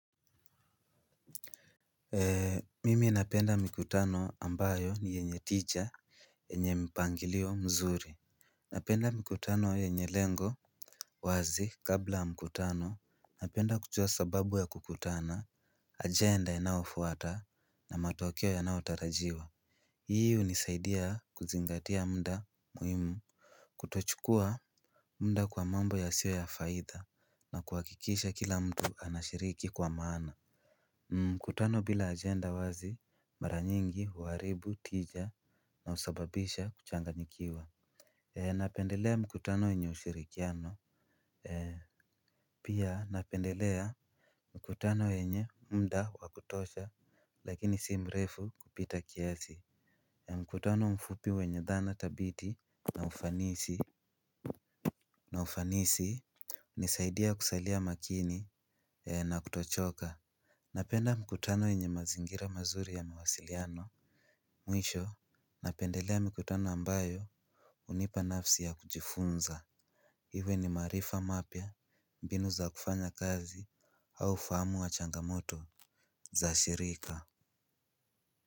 Mimi napenda mikutano ambayo ni yenye tija, yenye mpangilio mzuri. Napenda mikutano yenye lengo wazi. Kabla ya mkutano napenda kujua sababu ya kukutana, ajenda inayofuata na matokeo yanayotarajiwa. Hii unisaidia kuzingatia muda muhimu kutochukua muda kwa mambo yasiyo ya faida na kuhakikisha kila mtu anashiriki kwa maana. Mkutano bila ajenda wazi mara nyingi huaribu tija na husababisha kuchanganyikiwa. Napendelea mkutano wenye ushirikiano. Pia napendelea mkutano wenye muda wa kutosha lakini si mrefu kupita kiasi. Mkutano mfupi wenye dhana thabiti na ufanisi, na ufanisi hunisaidia kusailia makini na kutochoka. Napenda mkutano yenye mazingira mazuri ya mawasiliano. Mwisho, napendelea mikutano ambayo hunipa nafasi ya kujifunza iwe ni maarifa mapya, mbinu za kufanya kazi au fahamu wa changamoto za shirika.